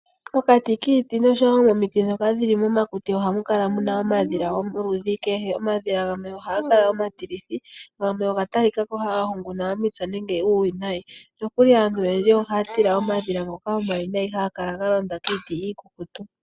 Pokati kiiti noshowo momakuti ohamu kala muna omadhila goludhi kehe. Omadhila gamwe ohaga kala omatilithi, nogamwe oga talikako haga hunguna omipya nenge uuwinayi. Nokuli aantu oyendji ohaya tila omadhila ngoka omawinayi haga kala galonda kiiti iikukutu.